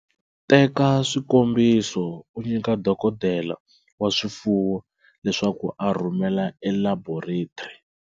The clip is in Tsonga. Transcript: Teka swikombiso u nyika dokodela wa swifuwo leswaku a rhumela elaboretri.